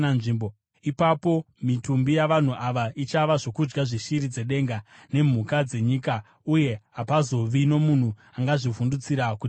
Ipapo mitumbi yavanhu ava ichava zvokudya zveshiri dzedenga nemhuka dzenyika, uye hapazovi nomunhu angazvivhundutsira kuti zvibve.